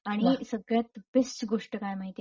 आणि सगळ्यात बेस्ट गोष्ट काय माहितीये?